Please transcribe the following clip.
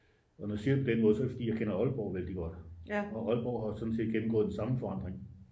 og når jeg siger det på den måde så er det fordi jeg kender aalborg vældig godt og aalborg har sådan set gennemgået den samme forandring